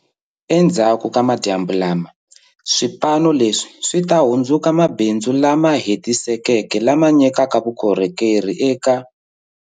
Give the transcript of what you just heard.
Endzhaku ka madyambu lama, swipano leswi swi ta hundzuka mabindzu lama hetisekeke lama nyikaka vukorhokeri eka.